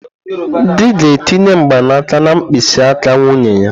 Di ga-etinye mgbanaka na mkpịsị aka nwunye ya.